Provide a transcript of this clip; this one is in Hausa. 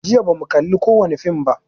Jiya ba mu kalli kowani fim ba